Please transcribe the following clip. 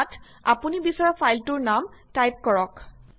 ইয়াত আপুনি বিচৰা ফাইলটোৰ নাম টাইপ কৰক